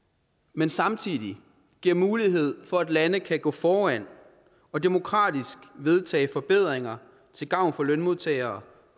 men samtidig giver mulighed for at lande kan gå foran og demokratisk vedtage forbedringer til gavn for lønmodtagere